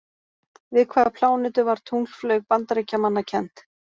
Við hvaða plánetu var tunglflaug Bandaríkjamanna kennd?